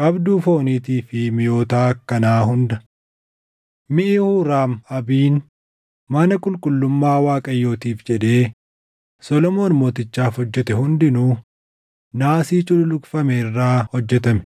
qabduu fooniitii fi miʼoota akkanaa hunda. Miʼi Huuraam-Abiin mana qulqullummaa Waaqayyootiif jedhee Solomoon Mootichaaf hojjete hundinuu naasii cululuqfame irraa hojjetame.